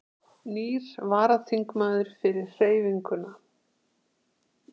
Nýr varaþingmaður fyrir Hreyfinguna